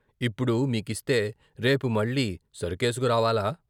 "ఇప్పుడు మీకిస్తే రేపు మళ్ళీ సరుకేసుకురావాలా?